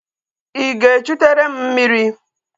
Ị ga-echụtere m mmiri?